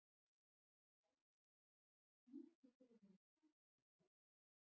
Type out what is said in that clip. Árvök, syngdu fyrir mig „Ekki“.